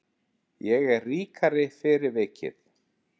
Ég er ríkari fyrir vikið.